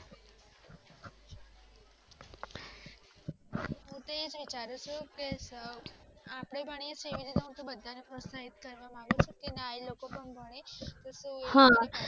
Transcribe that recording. હું તો એજ વિચારું છું જો આપણે ભણીએ છીએ એવી રીતે હું બધાને પ્રોત્સાહિત કરવા માંગુ છું કે ના એલોકો પણ ભણીશ એટલે તો